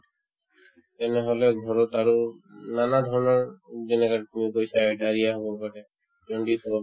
এনেহ'লে ঘৰত আৰু উম নানা ধৰণৰ যেনেকা তুমি কৈছা diarrhea হ'ব পাৰে jaundice হ'ব পাৰে